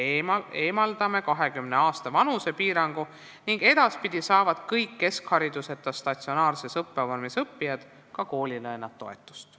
Me eemaldame vanusepiirangu ning edaspidi saavad kõik keskhariduseta statsionaarses õppevormis õppijad ka koolilõunatoetust.